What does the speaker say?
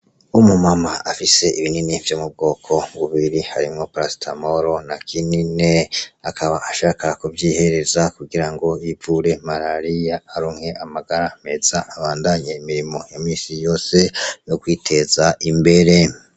Umu mama afise ibinini vyo mu bwoko bubiri harimwo parasetamole na kinine akaba ashaka kuvyihereza kugirango ivure malariya aronke amagara meza abandanye imirimo ya minsi yose yo kwiteza imbere .